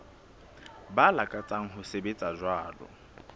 ba lakatsang ho sebetsa jwalo